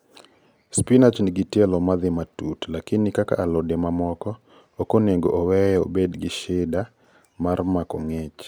Spinach nigi tielo madhii matut lakini kaka alode ma moko, okonego oweye obed gi shida mar mako ngich